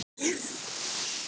Pálmi: En á öðrum stöðum?